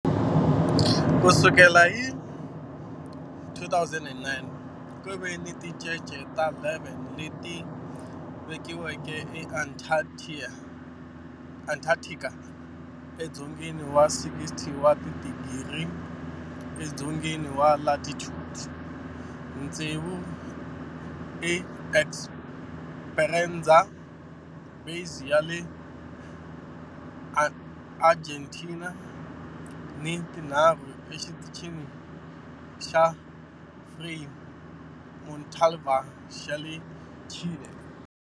Ku sukela hi 2009, ku ve ni tincece ta 11 leti velekiweke eAntarctica, edzongeni wa 60 wa tidigri edzongeni wa latitude, tsevu eEsperanza Base ya le Argentina ni tinharhu eXitichini xa Frei Montalva xa le Chile.